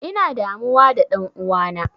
Ina damuwa da ɗan'uwana.